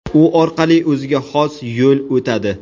U orqali o‘ziga xos yo‘l o‘tadi.